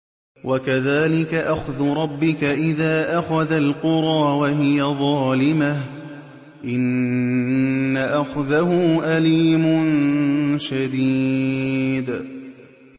وَكَذَٰلِكَ أَخْذُ رَبِّكَ إِذَا أَخَذَ الْقُرَىٰ وَهِيَ ظَالِمَةٌ ۚ إِنَّ أَخْذَهُ أَلِيمٌ شَدِيدٌ